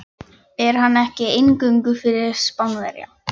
Er hann ekki eingöngu fyrir Spánverja.